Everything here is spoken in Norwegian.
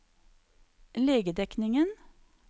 legedekningen